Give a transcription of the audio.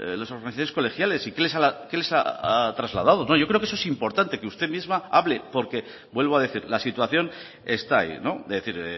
con las organizaciones colegiales y qué les ha trasladado yo creo que eso es importante que usted misma hable porque vuelvo a decir la situación está ahí es decir